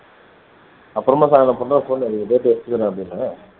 அப்பறமா சாயந்திரம் பண்றா phone date எடுத்துக்கிறேன்னேன்